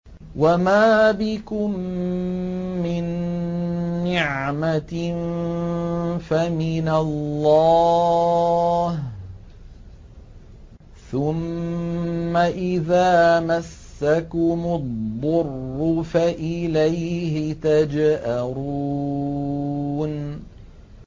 وَمَا بِكُم مِّن نِّعْمَةٍ فَمِنَ اللَّهِ ۖ ثُمَّ إِذَا مَسَّكُمُ الضُّرُّ فَإِلَيْهِ تَجْأَرُونَ